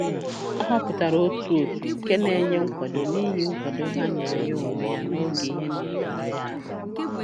Ọ họpụtara otu òtù nke na-enye nkwado n'ihi nkwado ha nyere ya onwe ya n'oge ihe na-ara ya ahụ